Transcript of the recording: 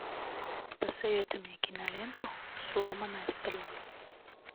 посоветуй мне киноленту сломанная стрела